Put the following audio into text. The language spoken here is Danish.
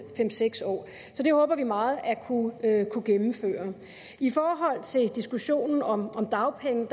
fem seks år så det håber vi meget at kunne gennemføre i forhold til diskussionen om om dagpenge